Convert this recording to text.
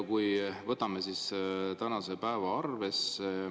Võtame ette tänase päeva.